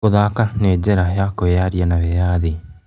Gũthaka nĩ njĩra ya kwĩyaria na wĩyathi.